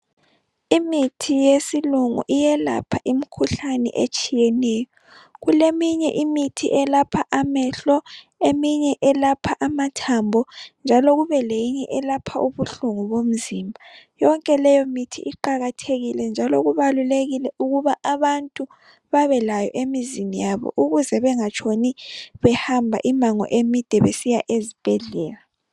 Imithi yesilungu iyelapha imikhuhlane etshiyeneyo. Kuleminye imithi eyelapha amehlo eminye yelapha amathambo njalo kubeleyinye eyelapha ubuhlungu bomzimba .Yonke leyo mithi iqakathekile njalo kubalulekile ukuba abantu babelayo emizini yabo ukuze bangatshoni behamba imango emide besiya ezibhedlela.